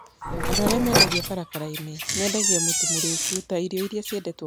Andũ arĩa mendagia barabara-inĩ nĩ mendagia mũtu mũriku ta irio iria ciendetwo mũno Kenya.